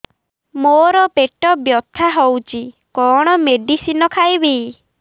ମୋର ପେଟ ବ୍ୟଥା ହଉଚି କଣ ମେଡିସିନ ଖାଇବି